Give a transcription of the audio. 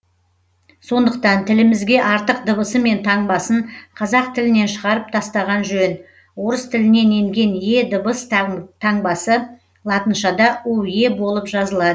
сондықтан тілімізге артық дыбысы мен таңбасын қазақ тілінен шығарып тастаған жөн орыс тілінен енген е дыбыс таңбасы латыншада уе болып жазылады